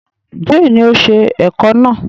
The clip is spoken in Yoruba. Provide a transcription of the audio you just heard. Jane ni o ṣe ẹ̀kọ náà.